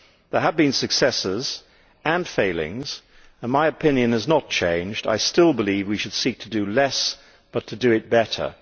There have been successes and failings, and my opinion has not changed I still believe that we should seek to do less, but to do it better.